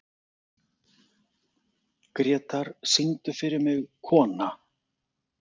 Grétar, syngdu fyrir mig „Kona“.